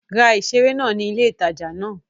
Ra ìseré náà ní ilé ìtajà náà